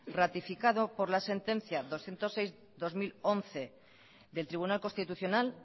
ratificado por la sentencia doscientos seis barra dos mil once del tribunal constitucional